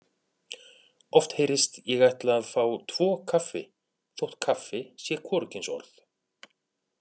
Oft heyrist: Ég ætla að fá tvo kaffi þótt kaffi sé hvorugkynsorð.